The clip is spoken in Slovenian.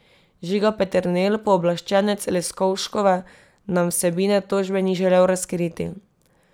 Žiga Peternel, pooblaščenec Leskovškove, nam vsebine tožbe ni želel razkriti.